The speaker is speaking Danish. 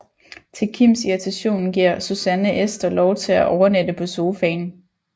Til Kims irritation giver Susanne Ester lov til at overnatte på sofaen